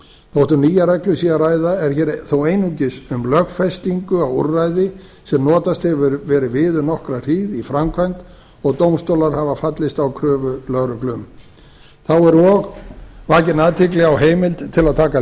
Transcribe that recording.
þótt um nýja reglu sé að ræða er þó einungis um lögfestingu á úrræði sem notast hefur verið við um nokkra hríð í framkvæmd og dómstólar hafa fallist á kröfu lögreglu um þá er og vakin athygli á heimild til að taka